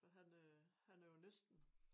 Og han øh han er jo næsten